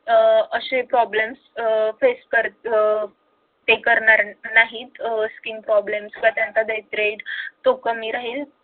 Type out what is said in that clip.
अह असे problems अह face कर अह करणार नाहीत अह skin problem किंवा त्यांचा तो कमी राहील